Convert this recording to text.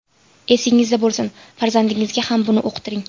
Esingizda bo‘lsin, farzandingizga ham buni uqtiring.